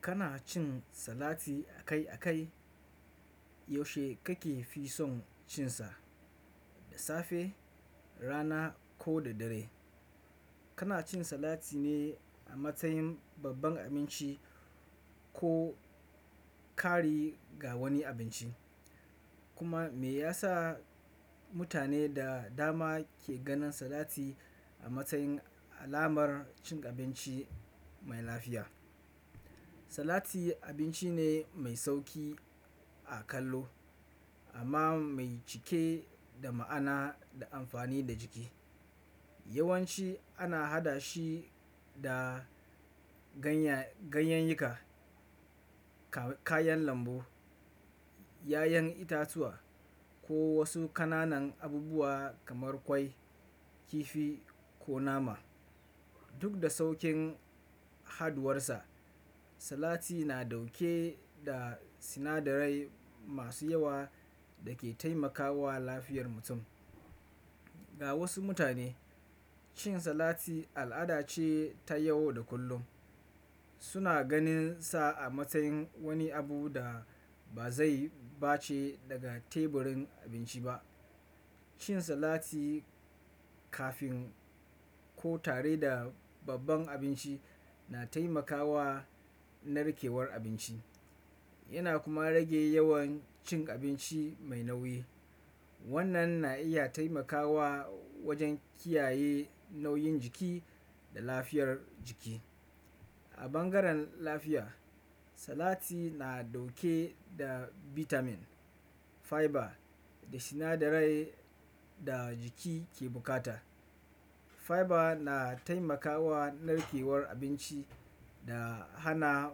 Kana cin salati akai-akai? Yaushe kake fi son cin sa, da safe, rana ko da dare? Kana cin salati ne a matsayin babban abinci ko kari ga wani abinci? Kuma me ya sa mutane da dama ke ganin salati a matsayin alamar cin abinci mai lafiya? Salati abinci ne mai sauki a kallo amma mai cike da ma'ana da amfani da jiki. Yawanci ana haɗa shi da ganyayyaka, kayan lambu, ƴaƴan itatuwa, ko wasu ƙananan abubuwa kamar ƙwai, kifi ko nama. Duk da saukin haduwarsa, salati na ɗauke da sinadarai masu yawa da ke taimakawa lafiyar mutum. Ga wasu mutane, cin salati al'ada ce ta yau da kullum. Suna ganin sa a matsayin wani abu da ba zai bace daga teburin abinci ba. Cin salati kafin ko tare da babban abinci na taimakawa narkewar abinci yana kuma rage yawan cin abinci mai nauyi. Wannan na iya taimakawa wajen kiyaye nauyin jiki da lafiyar jiki. A bangaren lafiya, salati na ɗauke da bitamin, fiber, da sinadarai da jiki ke bukata. Fiber na taimakawa narkewar abinci da hana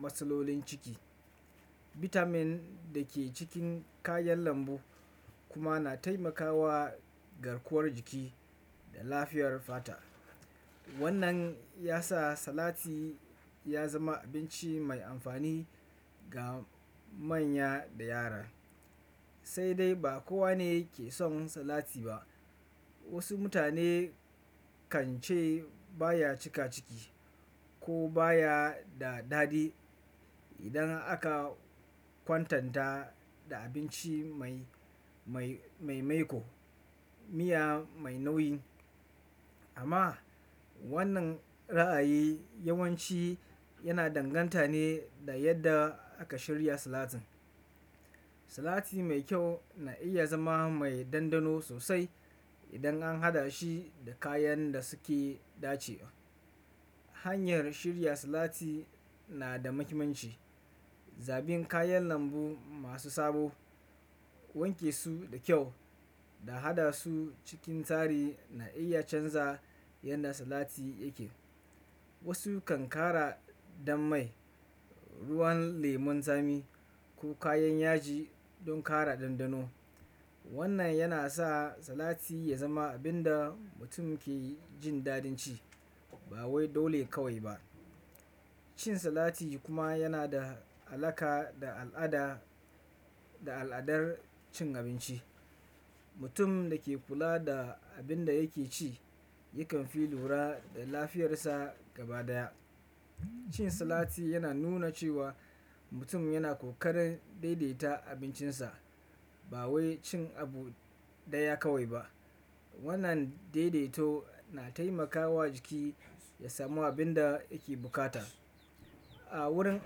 matsalolin ciki. Bitamin da ke cikin kayan lambu kuma na taimakawa garkuwar jiki da lafiyar fata. Wannan ya sa salati ya zama abinci mai amfani ga manya da yara. Sai dai ba kowa ne ke son salati ba. Wasu mutane kan ce baya cika ciki ko baya da daɗi idan aka kwatanta da abinci mai-mai maiƙo, miya mai nauyi. Amma wannan ra'ayi yawanci yana danganta ne da yadda aka shirya salatin. Salati mai kyau na iya zama mai dandano sosai idan an haɗa shi da kayan da suke dace. Hanyar shirya salati na da muhimmanci. Zabin kayan lambu masu sabo, wanke su da kyau, da haɗa su cikin tsare na iya canza yadda salati yake. Wasu kan ƙara dan mai, ruwan lemon tsami, ko kayan yaji don ƙara dandano. Wannan yana sa salati ya zama abin da mutum ke jin dadin ci ba wai dole kawai ba. Cin salati kuma yana da alaƙa da al'ada da al'adar cin abinci. Mutum da ke kula da abin da yake ci yakan fi lura da lafiyarsa gaba daya. Cin salati yana nuna cewa mutum yana ƙoƙarin daidaita abincinsa ba wai cin abu ɗaya kawai ba. Wannan daidaito na taimakawa jiki ya samu abin da yake bukata. A wurin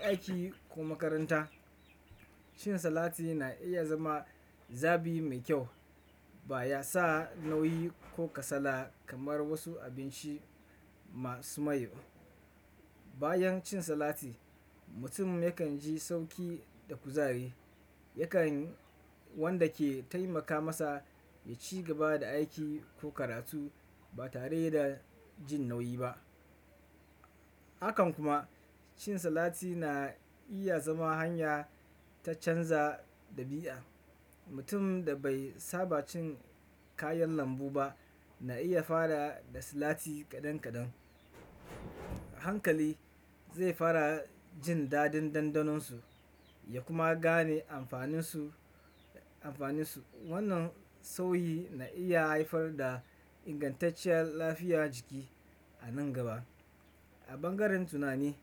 aiki ko makaranta, cin salati na iya zama zabi mai kyau. Ba ya sa nauyi ko kasala kamar wasu abinci masu mai. Bayan cin salati, mutum yakan ji sauƙi da kuzari. Yakan wanda ke taimaka masa ya ci gaba da aiki ko karatu ba tare da jin nauyi ba. Hakan kuma cin salati na iya zama hanya ta canza ɗabi'a. Mutum da bai saba cin kayan lambu ba na iya fara da salati kaɗan kaɗan. Hankali zai fara jin dadin dandanon su ya kuma gane amfanin su-amfanin su. Wannan sauyi na iya haifar da ingantacciyar lafiyar jiki a nan gaba. A bangaren tunani.